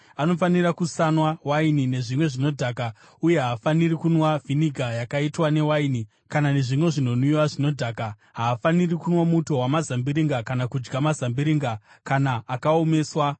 anofanira kusanwa waini nezvimwe zvinodhaka uye haafaniri kunwa vhiniga yakaitwa newaini kana nezvimwe zvinonwiwa zvinodhaka. Haafaniri kunwa muto wamazambiringa, kana kudya mazambiringa, kana akaomeswa.